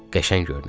Qəşəng görünəsən.